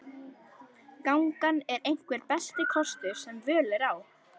Gangan er einhver besti kostur sem völ er á.